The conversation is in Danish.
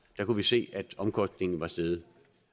kunne vi se at omkostningen var steget